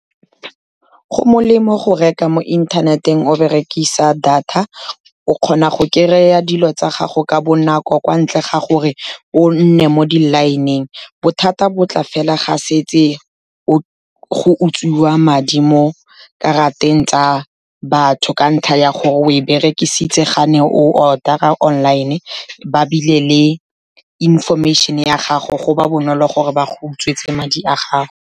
Go molemo go reka mo inthaneteng o berekisa data, o kgona go kry-a dilo tsa gago ka bonako, kwa ntle ga gore o nne mo di-line-eng. Bothata bo tla fela ga setse go utswiwa madi mo karateng tsa batho, ka ntlha ya gore o e berekisitse ga ne o order-a online, ba bile le information-e ya gago, go ba bonolo gore ba go utswetswe madi a gago.